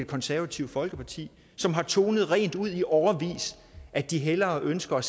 konservative folkeparti som har tonet rent ud i årevis at de hellere ønsker at